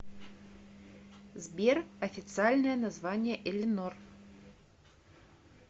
сбер официальное название элинор